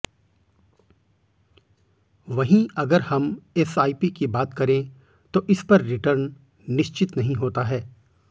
वहीं अगर हम एसआईपी की बात करें तो इस पर रिटर्न निश्चित नहीं होता है